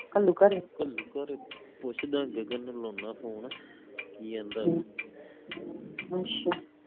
ਘੱਲੂ ਘਰ ਪੁੱਛਦਾ ਗਗਨ ਨੂੰ ਲਾਉਣਾ phone ਕਿ ਆਂਦਾ ਉਹ